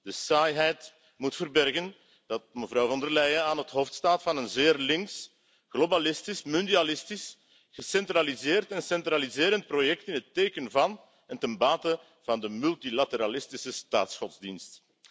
De saaiheid moet verbergen dat mevrouw Von der Leyen aan het hoofd staat van een zeer links, globalistisch, mondialistisch, gecentraliseerd en centraliserend project in het teken van en ten bate van de multilateralistische staatsgodsdienst.